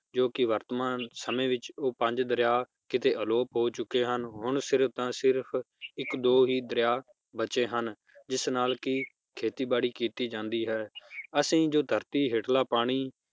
ਜੋ ਕਿ ਵਰਤਮਾਨ ਸਮੇ ਵਿਚ ਉਹ ਪੰਜ ਦਰਿਆ ਕਿਤੇ ਆਲੋਪ ਹੋ ਚੁਕੇ ਹਨ ਹੁਣ ਸਿਰਫ ਤਾਂ ਸਿਰਫ ਇੱਕ ਦੋ ਹੀ ਦਰਿਆ ਬਚੇ ਹਨ, ਜਿਸ ਨਾਲ ਕਿ ਖੇਤੀ ਬਾੜੀ ਕੀਤੀ ਜਾਂਦੀ ਹੈ ਅਸੀ ਜੋ ਧਰਤੀ ਹੇਠਲਾਂ ਪਾਣੀ